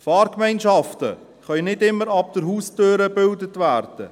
Fahrgemeinschaften können nicht immer ab der Haustüre gebildet werden.